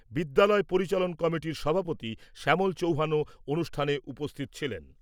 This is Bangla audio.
বিদ্যালয় পরিচালন কমিটির সভাপতি শ্যামল চৌহানও অনুষ্ঠানে উপস্থিত ছিলেন।